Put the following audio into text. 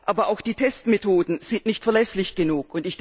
Aber auch die Testmethoden sind nicht verlässlich genug.